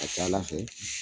A ka ca ala fɛ